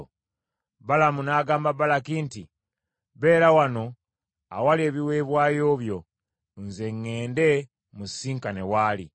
Balamu n’agamba Balaki nti, “Beera wano awali ebiweebwayo byo, nze ŋŋende musisinkane wali.”